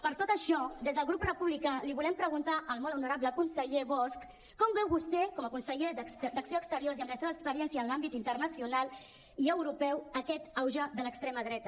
per tot això des del grup republicà li volem preguntar al molt honorable conseller bosch com veu vostè com a conseller d’acció exterior i amb la seva experiència en l’àmbit internacional i europeu aquest auge de l’extrema dreta